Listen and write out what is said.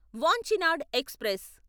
Vanchinad express